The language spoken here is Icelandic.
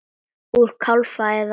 Úr kálfa eða læri!